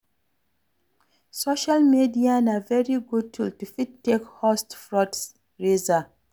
Social media na very good tool to fit take host fundraiser